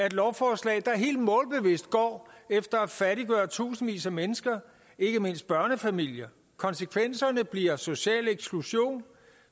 et lovforslag der helt målbevidst går efter at fattiggøre tusindvis af mennesker ikke mindst børnefamilier konsekvenserne bliver social eksklusion